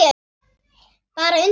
Bara undrun.